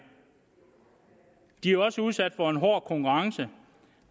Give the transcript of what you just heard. de er også udsat for en hård konkurrence